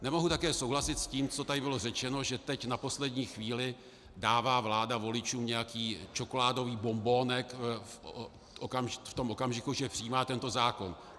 Nemohu také souhlasit s tím, co tady bylo řečeno, že teď na poslední chvíli dává vláda voličům nějaký čokoládový bonbonek v tom okamžiku, že přijímá tento zákon.